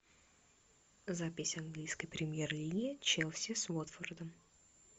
запись английской премьер лиги челси с уотфордом